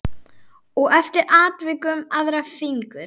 Og eftir atvikum aðra fingur.